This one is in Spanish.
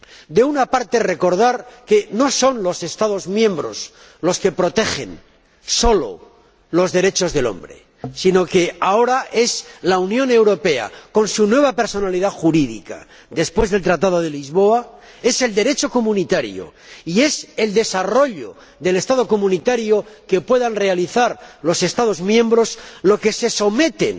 De una parte, quiero recordar que no son solo los Estados miembros los que protegen los derechos humanos, sino que ahora es la Unión Europea —con su nueva personalidad jurídica en virtud del Tratado de Lisboa—, es el Derecho comunitario y es el desarrollo del Estado comunitario que puedan realizar los Estados miembros, los que se someten